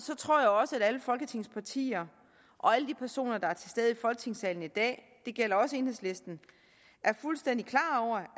tror jeg også at alle folketingets partier og alle de personer der er til stede i folketingssalen i dag det gælder også enhedslisten er fuldstændig klar over